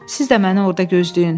Siz də məni orda gözləyin.